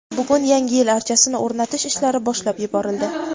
bugun yangi yil archasini o‘rnatish ishlari boshlab yuborildi.